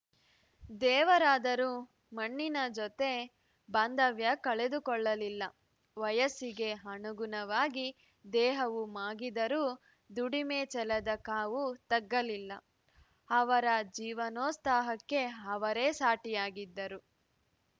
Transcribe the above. ದೇವರಾದರೂ ಮಣ್ಣಿನ ಜತೆ ಬಾಂಧವ್ಯ ಕಳೆದುಕೊಳ್ಳಲಿಲ್ಲ ವಯಸ್ಸಿಗೆ ಅನುಗುಣವಾಗಿ ದೇಹವು ಮಾಗಿದರೂ ದುಡಿಮೆ ಛಲದ ಕಾವು ತಗ್ಗಲಿಲ್ಲ ಅವರ ಜೀವನೋತ್ಸಾಹಕ್ಕೆ ಅವರೇ ಸಾಟಿಯಾಗಿದ್ದರು